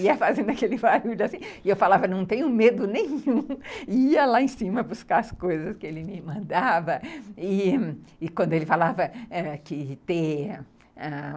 ia fazendo aquele barulho assim, e eu falava, não tenho medo nenhum, ia lá em cima buscar as coisas que ele me mandava, e quando ele falava ãh que ter